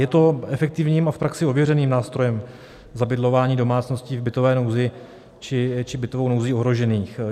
Je to efektivním a v praxi ověřeným nástrojem zabydlování domácností v bytové nouzi či bytovou nouzí ohrožených.